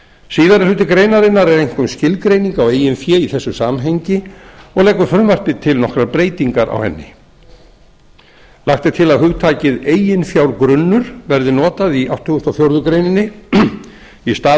síðari hluti greinarinnar er einkum skilgreining á eigin fé í þessu samhengi og leggur frumvarpið til nokkrar breytingar á henni lagt er til að hugtakið eiginfjárgrunnur verði notað í áttugasta og fjórðu grein í stað